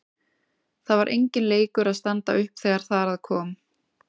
Það var enginn leikur að standa upp þegar þar að kom.